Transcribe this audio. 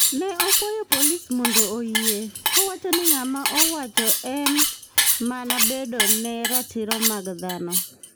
Ne okwayo polis mondo orieye, kowacho ni gima owacho en mana kedo ne ratiro mag dhano.